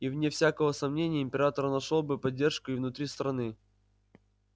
и вне всякого сомнения император нашёл бы поддержку и внутри страны